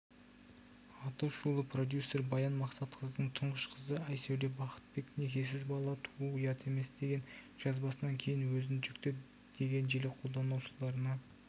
атышулы продюсер баян мақсатқызының тұңғыш қызы айсәуле бақытбек некесіз бала туу ұят емес деген жазбасынан кейін өзін жүкті деген желі қолданушыларына